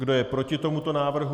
Kdo je proti tomuto návrhu?